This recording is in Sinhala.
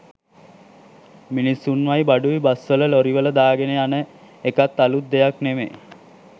මිනිස්‌සුන්වයි බඩුයි බස්‌වල ලොරිවල දාගෙන යන එකත් අලුත් දෙයක්‌ නෙමෙයි.